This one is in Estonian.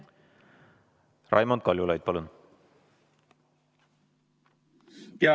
Raimond Kaljulaid, palun!